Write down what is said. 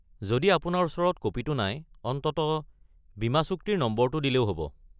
যদি আপোনাৰ ওচৰত ক'পিটো নাই, অন্ততঃ বীমাচুক্তিৰ নম্বৰটো দিলেও হ'ব।